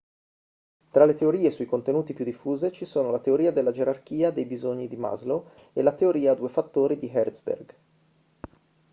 tra le teorie sui contenuti più diffuse ci sono la teoria della gerarchia dei bisogni di maslow e la teoria a due fattori di herzberg